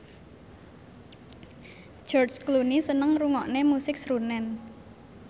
George Clooney seneng ngrungokne musik srunen